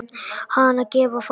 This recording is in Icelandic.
Hana gefa fáir.